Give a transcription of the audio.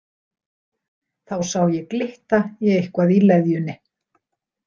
Þá sá ég glitta í eitthvað í leðjunni.